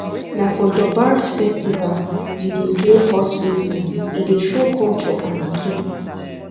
na for durbar festival we dey play horse racing e dey show culture and skill